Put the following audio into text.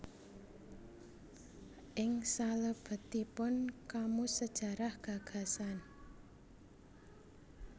Ing salebetipun Kamus Sajarah Gagasan